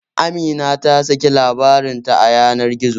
Amina ta saki labarin ta a yanar gizo